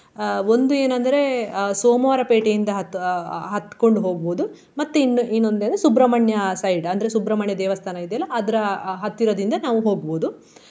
ಅಹ್ ಒಂದು ಏನಂದ್ರೆ ಅಹ್ ಸೋಮವಾರ ಪೇಟೆಯಿಂದ ಹತ್ತು ಅಹ್ ಹತ್ಕೊಂಡು ಹೋಗ್ಬೋದು ಮತ್ತೆ ಇನ್ನು~ ಇನ್ನೊಂದೇನು ಸುಬ್ರಮಣ್ಯ side ಅಂದ್ರೆ ಸುಬ್ರಮಣ್ಯ ದೇವಸ್ಥಾನ ಇದೆಯಲ್ಲ ಅದ್ರ ಆ ಹತ್ತಿರದಿಂದ ನಾವು ಹೋಗ್ಬೋದು.